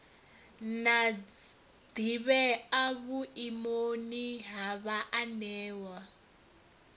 na ḓivhea vhuimoni ha vhaanewa